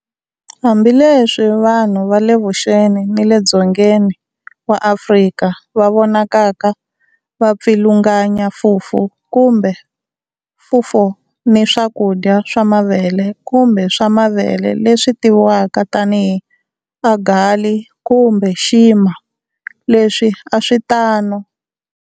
Hambileswi vanhu va le Vuxeni ni le Dzongeni wa Afrika va vonakaka va pfilunganya fufu kumbe fufuo, ni swakudya swa mavele kumbe swa mavele leswi tiviwaka tanihi"ugali" kumbe"nshima", leswi a swi tano.